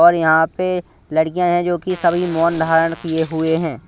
और यहां पे लड़कियां हैं जो कि सभी मौन धारण किए हुए हैं।